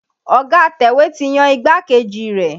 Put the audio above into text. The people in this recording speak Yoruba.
Ọ̀ga atẹ̀wé ti yan igbákejì rẹ̀.